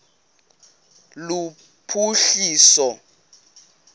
lophuhliso